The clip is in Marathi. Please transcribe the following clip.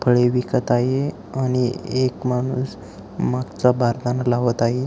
फळे विकत आहे आणि एक माणूस मागचा बारदाना लावत आहे.